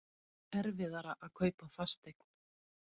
Erfiðara að kaupa fasteign